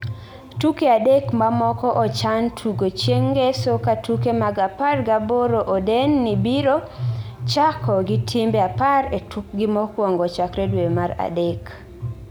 "Tuke adek mamoko ochan tugo chieng Ngeso ka tuke mag apar gaboro oden ni biro chako gi timbe apar e tukgi mokwongo chakre dwe mar adek."